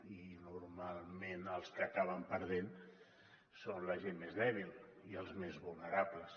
i normalment els que acaben perdent són la gent més dèbil i els més vulnerables